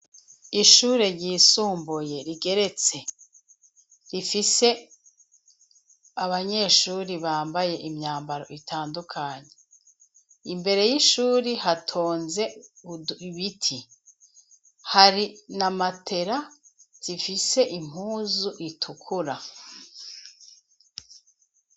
Ishuri ryisumbuye rigeretse rifise abanyeshuri bambaye imyambaro itandukanye imbere y'ishuri hatonze uibiti hari na matera zifise impuzu itukura zigaaaza.